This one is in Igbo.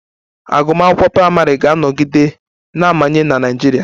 Agụmakwụkwọ praịmarị ga-anọgide na-amanye na Naịjirịa